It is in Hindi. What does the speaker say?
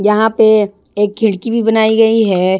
यहाँ पे एक खिड़की भी बनाई गई है।